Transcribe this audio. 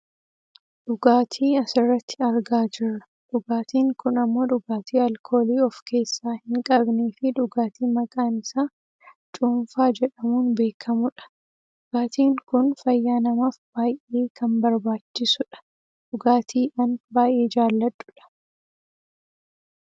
Dhugatii asirratti argaa jirra . Dhugaatiin kun ammoo dhugaatii alkoolii of keessaa hin qabneefi dhugaatii maqaan isaa cuunfaa jedhamuun beekkamudha. Dhugaatiin kun fayyaa namaaf baayyee kan barbaachisudha. Dhugaatii an baayyee jaaladhudha.